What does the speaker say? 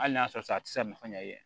Hali n'a sɔrɔ a tɛ se ka nafa ɲɛ yi